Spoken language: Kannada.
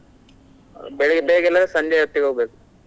ಬೆಳಿಗ್ಗೆ ಬೇಗ ಇಲ್ಲದ್ರೆ ಸಂಜೆ ಹೊತ್ತಿಗೆ ಹೋಗ್ಬೇಕು.